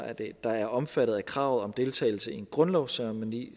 der er omfattet af kravet om deltagelse i en grundlovsceremoni